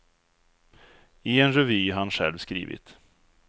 I en revy han själv skrivit.